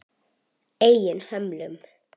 Eigin hömlum.